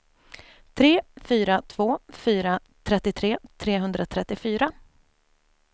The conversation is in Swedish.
tre fyra två fyra trettiotre trehundratrettiofyra